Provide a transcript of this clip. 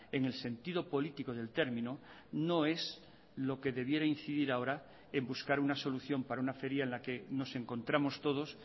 en el sentido político del término no es lo que debiera incidir ahora en buscar una solución para una feria en la que nos encontramos todos